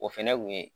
O fɛnɛ kun ye